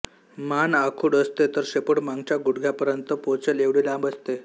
मान आखूड असते तर शेपूट मागच्या गुडघ्यापर्यंत पोचेल एवढी लांब असते